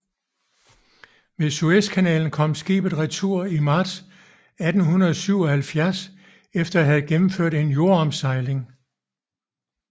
Via Suezkanalen kom skibet retur i marts 1877 efter at have gennemført en jordomsejling